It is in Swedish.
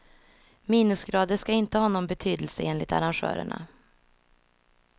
Minusgrader ska inte ha någon betydelse enligt arrangörerna.